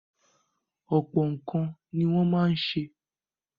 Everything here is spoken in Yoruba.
Ọ̀pọ̀ nǹkan ni wọ́n ma ń se.